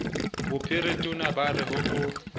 bophiritona ba re ho o